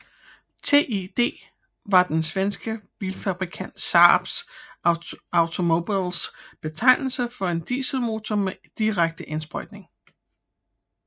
TiD var den svenske bilfabrikant Saab Automobiles betegnelse for en dieselmotor med direkte indsprøjtning